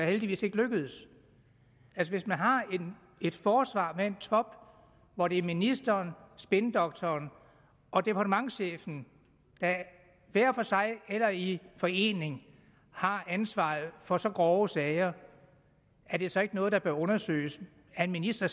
heldigvis ikke lykkedes hvis man har et forsvar med en top hvor det er ministeren spindoktoren og departementschefen der hver for sig eller i forening har ansvaret for så grove sager er det så ikke noget der bør undersøges er en minister